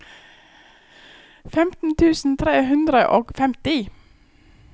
femten tusen tre hundre og femti